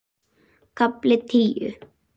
KAFLI TÍU